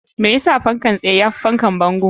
Me yas fankan tsaye yafi fankan bango?